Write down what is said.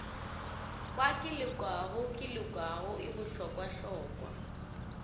wa kelokago kelokago e bohlokwahlokwa